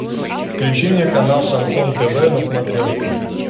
включи мне канал шансон тв на смотрежке